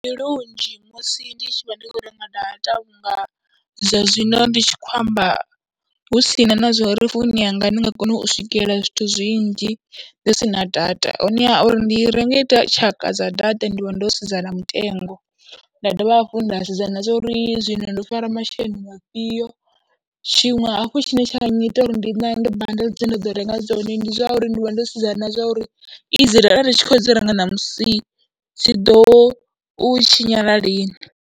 Ndi lunzhi musi ndi tshi vha ndi khou renga data vhunga zwa zwino ndi tshi khou amba hu si na na zwa uri founu yanga ndi nga kona u swikelela zwithu zwinzhi ndi si na data. Honeha uri ndi renge tshaka dza data ndi vha ndo sedza na mutengo, nda dovha hafhu nda sedza na zwa uri zwino ndo fara masheleni a fhio, tshiṅwe hafhu tshine tsha nnyita uri ndi nange bundle dze nda ḓo renga dzone ndi zwa uri ndi vha ndo sedzana na zwa uri idzi data ndi tshi khou dzi renga ṋamusi dzi ḓo u tshinyala lini.